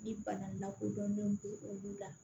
Ni bana lakodɔnnen b'o olu la